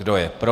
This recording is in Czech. Kdo je pro?